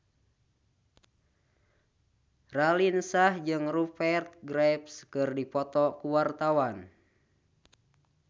Raline Shah jeung Rupert Graves keur dipoto ku wartawan